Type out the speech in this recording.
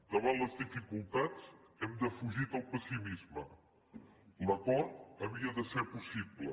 davant les dificultats hem defugit el pessimisme l’acord havia de ser possible